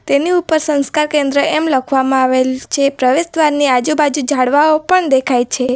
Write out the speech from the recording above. તેની ઉપર સંસ્કાર કેન્દ્ર એમ લખવામાં આવેલ છે પ્રવેશ દ્વારની આજુબાજુ ઝાડવાઓ પણ દેખાય છે.